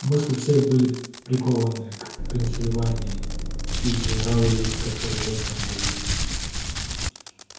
мысли всех были прикованы к пенсильвании и к генералу ли который вёл там бои